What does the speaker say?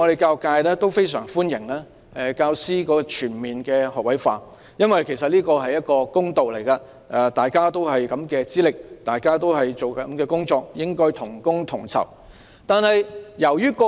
教育界普遍非常歡迎教師全面學位化，這是公道問題，大家有同樣的資歷，做相同的工作，應該同工同酬。